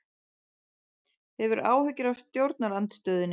Hefur áhyggjur af stjórnarandstöðunni